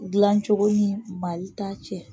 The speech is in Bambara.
gilan cogo ni Mali ta cɛ.